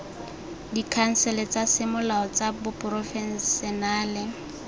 dikhansele tsa semolao tsa baporofešenale